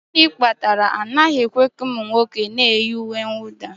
Gịnị kpatara na anaghị ekwe ka ụmụ nwoke na-eyi uwe mwụda?